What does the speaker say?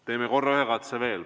Teeme korra ühe katse veel.